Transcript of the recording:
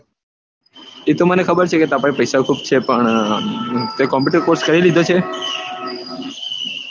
એ તો મને ખબર છે કે તાર પાસે પૈસા ખુબ છે પણ તે કોમ્યુટર કોર્સ કરી લીધો છે